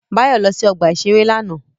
Báyọ̀ lọ sí ọgbà-ìṣeré lánàá